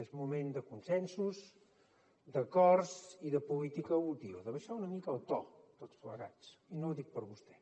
és moment de consensos d’acords i de política útil d’abaixar una mica el to tots plegats i no ho dic per vostè